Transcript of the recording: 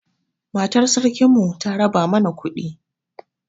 Matar sarkin mu ta raba mana kuɗi